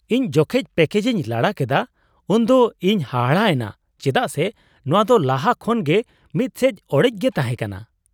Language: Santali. ᱤᱧ ᱡᱚᱠᱷᱮᱡ ᱯᱮᱠᱮᱡᱤᱧ ᱞᱟᱲᱟ ᱠᱮᱫᱟ ᱩᱱᱫᱚ ᱤᱧᱤ ᱦᱟᱦᱟᱲᱟ ᱮᱱᱟ ᱪᱮᱫᱟᱜ ᱥᱮ ᱱᱚᱶᱟ ᱫᱚ ᱞᱟᱦᱟ ᱠᱷᱚᱱ ᱜᱮ ᱢᱤᱫ ᱥᱮᱡ ᱚᱲᱮᱡ ᱜᱮ ᱛᱟᱦᱮᱸᱠᱟᱱᱟ ᱾